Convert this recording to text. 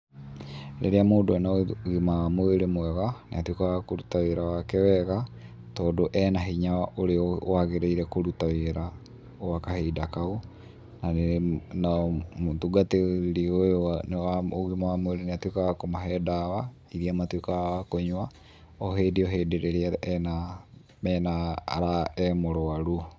Rĩrĩa mũndũ ena ũgima wa mwĩrĩ mwega, nĩatuĩkaga wa kũruta wĩra wake wega, tondũ e na hinya ũrĩa wagĩrĩire kũruta wĩra, gwa kahinda kau, na mũtungatĩri ũyũ wa ũgima wa mwĩrĩ nĩatuĩkaga wa kũmahe dawa, iria matuĩkaga a kũnyua, o hĩndĩ o hĩndĩ rĩrĩa ena, mena ,e mũrwaru.